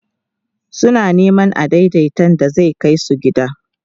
suna Neman adaidaita da zai Kai su gida